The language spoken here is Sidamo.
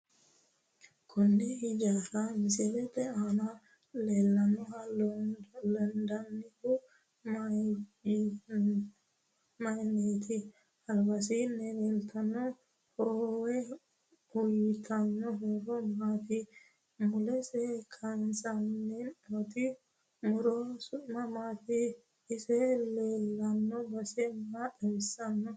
Konne hijaara misilete aana leelanoha loondoonihu mayiiniiti alabasiini leeltanno hoowe uyiitanno horo maati mulesi kaasantino muro su'mi maati isi leelano base maa xawisanno